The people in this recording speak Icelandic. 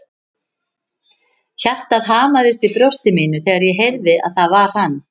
Hjartað hamaðist í brjósti mínu þegar ég heyrði að það var hann.